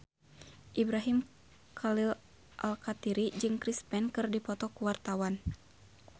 Ibrahim Khalil Alkatiri jeung Chris Pane keur dipoto ku wartawan